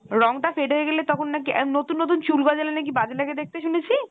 রংটা fade হয়ে গেলে তখন নাকি আহ নতুন নতুন চুল গজালে নাকি বাজে লাগে দেখতে শুনেছি ?